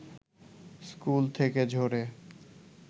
school থেকে ঝরে